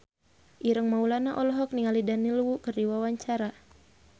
Ireng Maulana olohok ningali Daniel Wu keur diwawancara